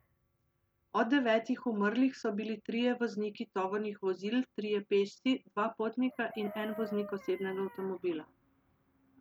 Od devetih umrlih so bili trije vozniki tovornih vozil, trije pešci, dva potnika in en voznik osebnega avtomobila.